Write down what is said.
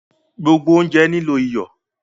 Gbogbo ounjẹ nilo iyọ